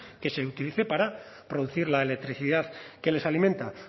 que se utilice para producir la electricidad que les alimenta